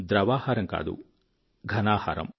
ద్రవాహారం కాదు ఘనాహారం